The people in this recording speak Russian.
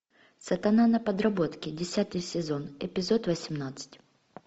сатана на подработке десятый сезон эпизод восемнадцать